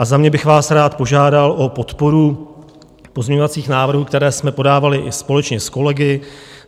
A za mě bych vás rád požádal o podporu pozměňovacích návrhů, které jsme podávali i společně s kolegy.